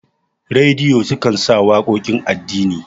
rediyo sukan sa waƙoƙin addini